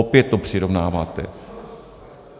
Opět to přirovnáváte.